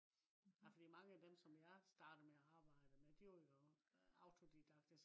ah fordi mange af dem som jeg startede med at arbejde med de var jo autodidakte